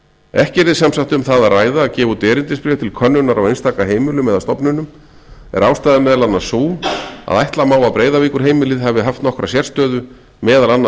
ekki yrði sem sagt um það að ræða að gefa út erindisbréf til könnunar á einstaka heimilum eða stofnunum er ástæðan meðal annars sú að ætla má að breiðavíkurheimilið hafi haft nokkra sérstöðu meðal annars